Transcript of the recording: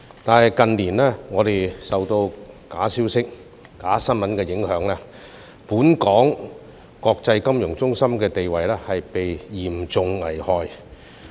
可是，近年我們受到假消息和假新聞的影響，本港國際金融中心的地位被嚴重危害。